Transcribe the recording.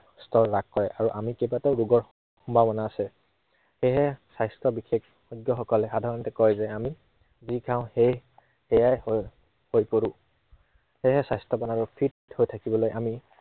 স্তৰ হ্ৰাস হয়, আৰু আমি কেইবাটাও ৰোগত সম্ভাৱনা আছে। সেয়েহে স্বাস্থ্য় বিশেষজ্ঞসকলে সাধাৰণতে কয় যে, আমি যি খাওঁ সেয়ে সেয়াই হৈ, হৈ পৰো। সেয়ে স্বাস্থ্য়ৱান আৰু fit হৈ থাকিবলৈ আমি